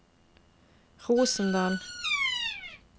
Rosendal